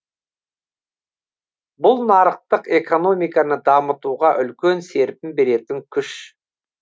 бұл нарықтық экономиканы дамытуға үлкен серпін беретін күш